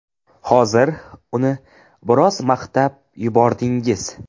Hozir uni biroz maqtab yubordingiz.